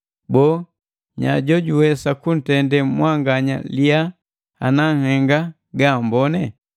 Boo, nya jojuwesa kuntende mwanganya liya ana nhenga gaamboni?